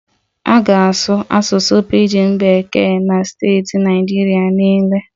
A ga-asụ Asụsụ Pijin Bekee na steeti Naịjirịa niile